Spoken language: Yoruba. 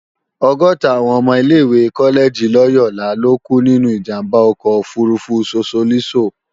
ọgọ́ta àwọn ọmọ ilé-ìwé kọ́lẹ́gì Lòyólà lókú nínú ìjàmbá ọkọ̀ òfurufú Sosolísò